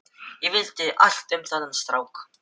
Ég vildi vita allt um þennan strák.